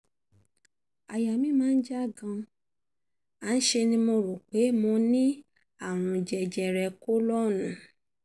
àyà mí já gan-an ṣe ni mo rò um pé mo um ní àrùn jẹjẹrẹ kólọ́ọ̀nù